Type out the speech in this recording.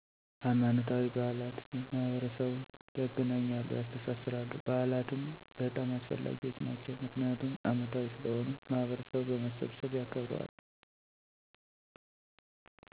ሀይማኖታዊ በዓላት ማህበረሰቡን ያገናኛሉ፣ ያስተሳስራሉ። በዓላትም በጣም አስፈላጊዎች ናቸው ምክንያቱም አመታዊ ስለሆኑ ማህበረሰቡ በመሰብሰብ ያከብረዋል።